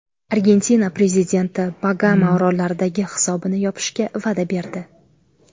Argentina prezidenti Bagama orollaridagi hisobini yopishga va’da berdi.